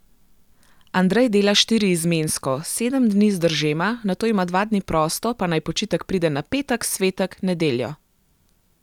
Andrej dela štiriizmensko, sedem dni zdržema, nato ima dva dni prosto, pa naj počitek pride na petek, svetek, nedeljo.